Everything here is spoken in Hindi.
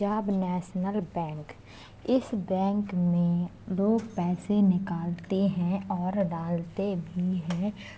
पंजाब नेशनल बैंक इस बैंक में लोग पैसे निकालते हैं और डालते भी हैं।